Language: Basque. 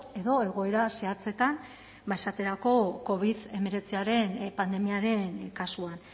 edo egoera zehatzetan ba esaterako covid hemeretziaren pandemiaren kasuan